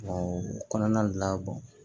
O kɔnɔna la